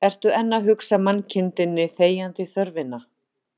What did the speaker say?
Ertu enn að hugsa mannkindinni þegjandi þörfina